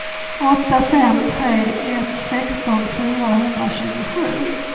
åtta fem tre ett sexton fyrahundratjugosju